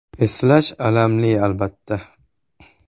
Eslash alamli, albatta.